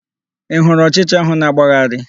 Ị hụrụ ọchịcha ahụ na-agbagharị?